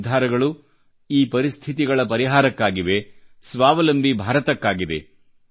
ಈ ನಿರ್ಧಾರಗಳು ಈ ಪರಿಸ್ಥಿತಿಗಳ ಪರಿಹಾರಕ್ಕಾಗಿವೆ ಸ್ವಾವಲಂಬಿ ಭಾರತಕ್ಕಾಗಿದೆ